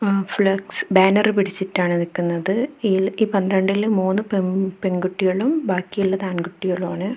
ങ flex banner പിടിച്ചിട്ടാണ് നിക്കുന്നത് ഇ ഈ പന്ത്രണ്ടിൽ മൂന്ന് പെ പെൺകുട്ടികളും ബാക്കിയുള്ളത് ആൺകുട്ടികളുമാണ്.